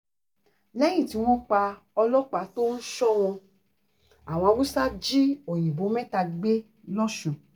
lẹ́yìn tí wọ́n pa ọlọ́pàá tó ń sọ wọ́n àwọn haúsá jí òyìnbó mẹ́ta gbé lọ́sùn